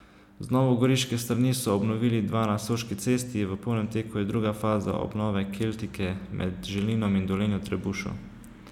Z novogoriške strani so obnovili dva na Soški cesti, v polnem teku je druga faza obnove Keltike med Želinom in Dolenjo Trebušo.